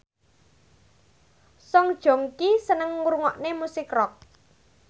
Song Joong Ki seneng ngrungokne musik rock